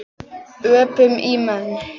Öpum í menn.